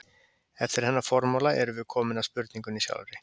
Eftir þennan formála erum við komin að spurningunni sjálfri.